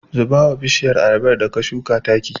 Zuba wa bishiyar ayabar da ka shuka taki.